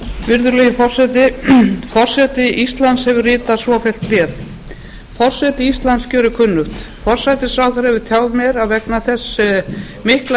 virðulegi forseti forseti íslands hefur ritað svofellt bréf forseti íslands gerir kunnugt forsætisráðherra hefur tjáð mér að vegna þess mikla